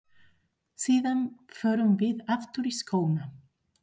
Síðan förum við aftur í skóna.